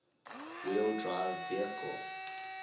wheel drive vehicles